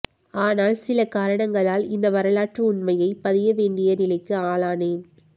ஆனால் சில காரணங்களால் இந்த வரலாற்று உண்மையைப் பதிய வேண்டிய நிலைக்கு ஆளானேன்